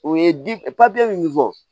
O ye di min fɔ